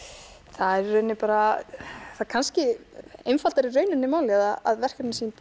það er í rauninni bara það kannski einfaldar í rauninni málið að verkefnin sem ég